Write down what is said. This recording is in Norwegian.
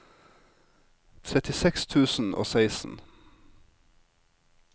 trettiseks tusen og seksten